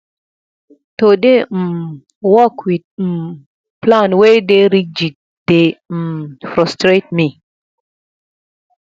to dey um work wit um plan wey dey rigid dey um frustrate me